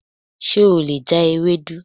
Ṣe o le ja Ewedu?